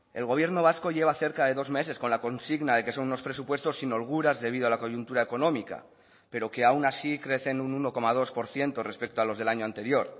el gobierno vasco lleva cerca de dos meses con la consigna de que son unos presupuestos sin holguras debido a la coyuntura económica pero que aun así crecen un uno coma dos por ciento respecto a los del año anterior